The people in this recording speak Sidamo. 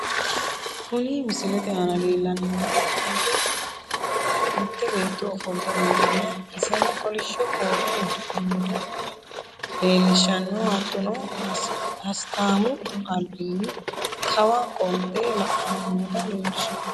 Kuni misilete aana leellanni noohu mitte beetto ofolte nootanna iseno kolishsho koote udidhe nooto leelishshanno hattono hisataamu albinni kawa qolte la'anni noota leelishshanno.